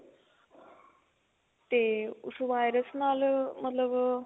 ਤੇ ਉਸ virus ਨਾਲ ਮਤਲਬ